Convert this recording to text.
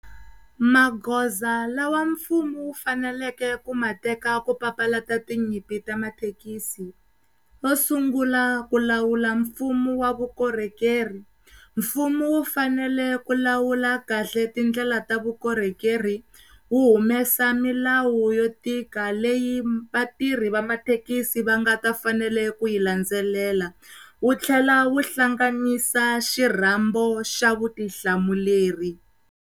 Maghoza lawa mfumo wu faneleke ku mateka ku papalata tinyimpi ta mathekisi wo sungula ku lawula mfumo wa vukorhokeri, mfumo wu fanele ku lawula kahle tindlela ta vukorhokeri wu humesa milawu yo tika leyi vatirhi va mathekisi va nga ka fanele kuyi landzelela, wu tlhela wu hlanganisa xirhambo xa vutihlamuleri.